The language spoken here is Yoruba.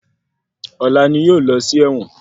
Ọ̀la ni yóò lọ sí ẹ̀wọ̀n.